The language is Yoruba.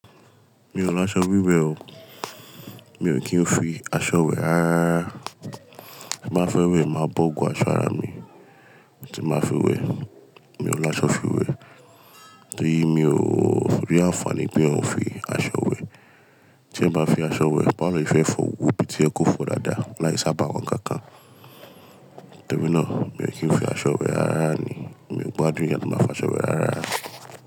Mi ò la aṣọ wíwẹ̀ o, mi ò kí ń fi aṣọ wẹ́ ara. Bí mo bá fẹ́ wẹ̀, máa bọ́ gbobo aṣọ ara mi ti máa fi wẹ̀. Mi ò lo aṣọ fi wẹ̀ torí mi ò rí àǹfààní pe eyan oún fi aṣọ wẹ̀. Tí ẹ bá fi aṣọ wẹ̀, bá wo lo sefefọ gbogbo ibi tí o ye kó fọ dáadáa láì saba wọn kankan. Nítorínà mi ò kí ń fi aṣọ wẹ̀ rara ni. Mi ò gbádùn ì yẹn ki n máa fi aṣọ wẹ̀ ara.